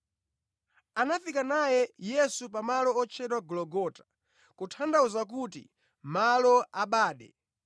Anafika naye Yesu pa malo otchedwa Gologota (kutanthauza kuti, malo a bade)